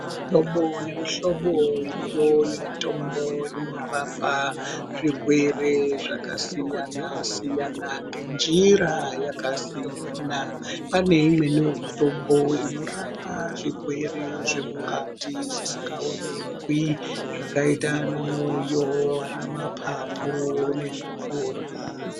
Mihlobo nemuhlobo iriyo yemitombo inorapa zvirwere zvakasiyana-siyana nenjira yakasiyana. Pane imweniwo mutombo inorapa zvirwere zvemukati zvisikaonekwi zvakaita anamwoyo, anamapapu nezvipfuva.